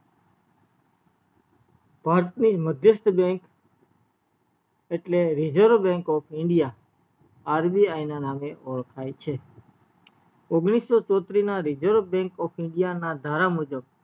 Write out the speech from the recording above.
ની મધ્યસ્ત bank એટલે reserve bank of indiaRBI ના નામએ ઓળખય છે ઓગણીસો ચોત્રીસ ના reserve bank of india ના ધારા મુજબ